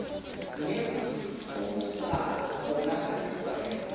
mme go sa kgonagale gore